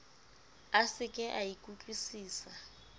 a se ke a ikutlwusisa